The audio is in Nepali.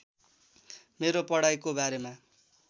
मेरो पढाइको बारेमा